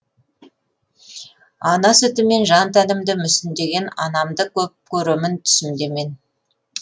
ана сүтімен жан тәнімді мүсіндеген анамды көп көремін түсімде мен